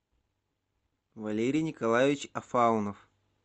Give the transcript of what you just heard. валерий николаевич фаунов